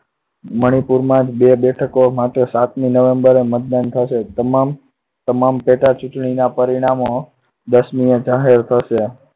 મણિપુરમાં જ બે બેઠકો માટે સાતમી november એ મતદાન થશે. તમામ પેટા ચુંટણીના પરિણામો દસમીએ જાહેર થશે.